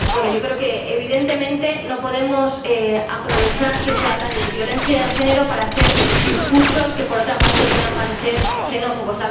Señor Presidente, yo creo que, evidentemente, no podemos aprovechar que se habla de violencia de género para hacer discursos que, por otra parte, puedan parecer xenófobos.